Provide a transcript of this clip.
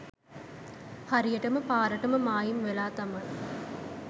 හරියටම පාරටම මායිම් වෙලා තමයි